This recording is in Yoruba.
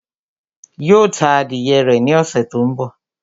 Yóò ta adìyẹ rẹ̀ ní ọ̀ṣẹ̀ tó ń bọ̀